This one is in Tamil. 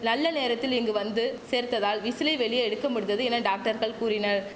நல்ல நேரத்தில் இங்கு வந்து சேர்த்ததால் விசிலை வெளியே எடுக்க முடிந்தது என டாக்டர்கள் கூறினர்